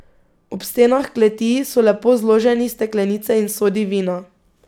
Ob stenah kleti so lepo zloženi steklenice in sodi vina.